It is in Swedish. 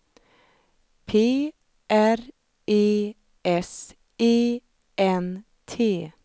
P R E S E N T